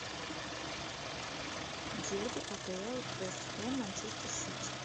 дерби апл вест хэм манчестер сити